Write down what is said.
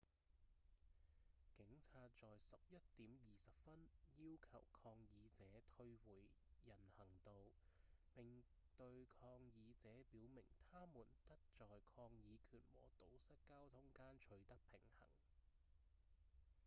警察在11點20分要求抗議者退回到人行道並對抗議者表明他們得在抗議權和堵塞交通間取得平衡